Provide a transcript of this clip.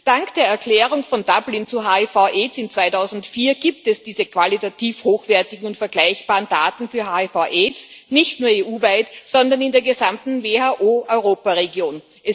Dank der Erklärung von Dublin zu HIV Aids im Jahr 2004 gibt es diese qualitativ hochwertigen und vergleichbaren Daten für HIV Aids nicht nur EU weit, sondern in der gesamten WHO Europaregion.